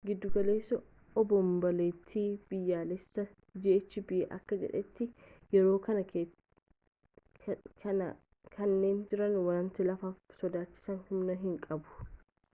gidugaleessi obomboleettii biyyaalessaa ghb akka jedhetti yeroo kanatti jeeriin wanta laafaaf sodaachisu homaa hin qabu